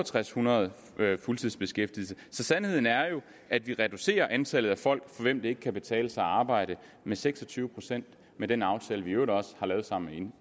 hundrede fuldtidsbeskæftigede så sandheden er jo at vi reducerer antallet af folk for hvem det ikke kan betale sig at arbejde med seks og tyve procent med den aftale vi i øvrigt også har lavet sammen